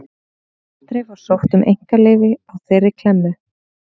Aldrei var sótt um einkaleyfi á þeirri klemmu.